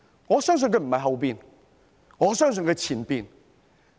我相信不是後者，我相信是前者。